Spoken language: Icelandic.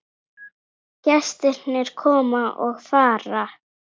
Gestir koma og fara.